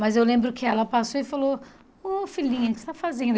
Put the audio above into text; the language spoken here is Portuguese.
Mas eu lembro que ela passou e falou, ô filhinha, o que você está fazendo?